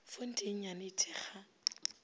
fonte ye nnyane e thekga